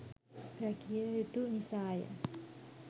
රැකිය යුතු නිසාය.